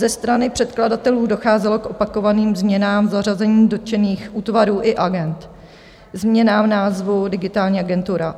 Ze strany předkladatelů docházelo k opakovaným změnám zařazení dotčených útvarů i agend, změnám v názvu Digitální agentura.